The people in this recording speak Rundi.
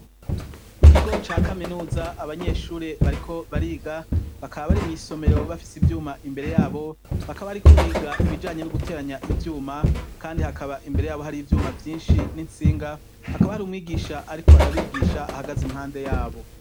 Mu kigo ca kaminuza abanyeshuri bariko bariga bakaba bari mwisomero bafise ivyuma imbere yabo bakaba bariko biga ibijanye no guteranya ivyuma kandi hakaba imbere yabo hari ivyuma vyinshi n'intsinga hakaba hari umwigisha ariko arabigisha ahagaze impande yabo.